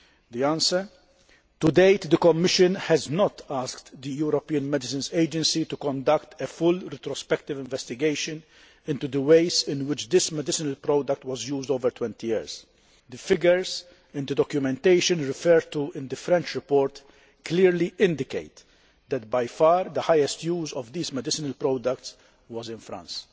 The answer to date, the Commission has not asked the European Medicines Agency to conduct a full retrospective investigation into the ways in which this medicinal product was used over 20 years. The figures and the documentation referred to in the French report clearly indicate that by far the highest use of this medicinal product was in France.